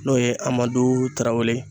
N'o ye Amadu Tarawele